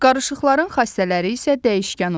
Qarışıqların xassələri isə dəyişkən olur.